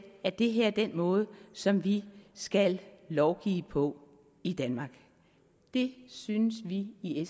er det her den måde som vi skal lovgive på i danmark det synes vi i